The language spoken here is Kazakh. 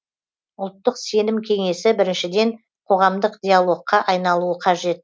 ұлттық сенім кеңесі біріншіден қоғамдық диалогқа айналуы қажет